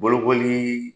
Bolokolii